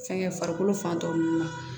Fɛnkɛ farikolo fan dɔw la